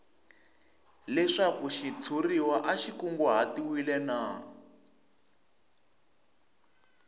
leswaku xitshuriwa xi kunguhatiwile na